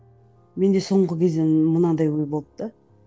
менде соңғы кезде мынандай ой болды да